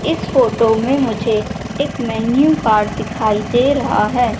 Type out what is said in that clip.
इस फोटो में मुझे एक मेन्यू कार्ड दिखाई दे रहा है।